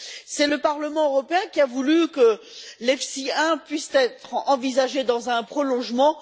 C'est le Parlement européen qui a voulu que l'EFSI 1 puisse être envisagé dans un prolongement.